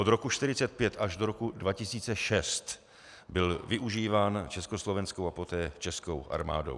Od roku 1945 až do roku 2006 byl využíván československou a poté českou armádou.